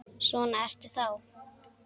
Svona ertu þá!